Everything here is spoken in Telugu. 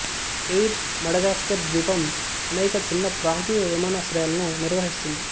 ఎయిర్ మడగాస్కర్ ద్వీపం అనేక చిన్న ప్రాంతీయ విమానాశ్రయాలను నిర్వహిస్తుంది